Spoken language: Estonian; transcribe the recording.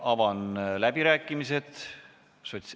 Avan läbirääkimised.